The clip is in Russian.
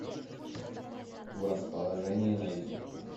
в расположении найди